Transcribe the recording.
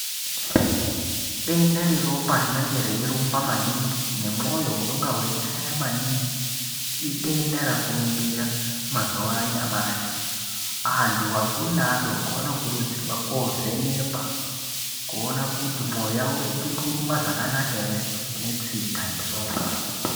Dendabreropa rinenge reirumba maningi nemwoyo unongabweichaya maningi idenda rakurumbira mazuwa anyamashi, anthubakuru neadoko anokurudzirwa koovhenekwa kuona kuti mwoyo yawo ichiri kurumba zvakanaka ere netsinga neropa.